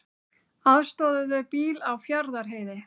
Aðstoðuðu bíl á Fjarðarheiði